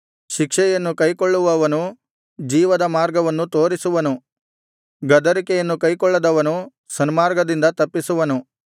ಶಿಕ್ಷೆಯನ್ನು ಕೈಕೊಳ್ಳುವವನು ಜೀವದ ಮಾರ್ಗವನ್ನು ತೋರಿಸುವನು ಗದರಿಕೆಯನ್ನು ಕೈಕೊಳ್ಳದವನು ಸನ್ಮಾರ್ಗದಿಂದ ತಪ್ಪಿಸುವನು